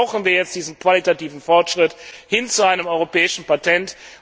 sind. Darum brauchen wir jetzt diesen qualitativen Fortschritt hin zu einem Europäischen Patent.